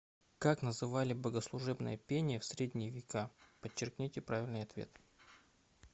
как называли богослужебное пение в средние века подчеркните правильный ответ